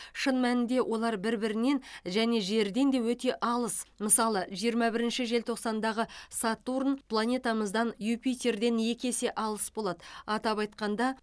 шын мәнінде олар бір бірінен және жерден де өте алыс мысалы жиырма бірінші желтоқсандағы сатурн планетамыздан юпитерден екі есе алыс болады атап айтқанда